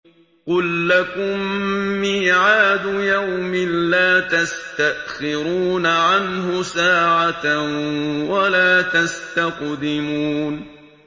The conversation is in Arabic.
قُل لَّكُم مِّيعَادُ يَوْمٍ لَّا تَسْتَأْخِرُونَ عَنْهُ سَاعَةً وَلَا تَسْتَقْدِمُونَ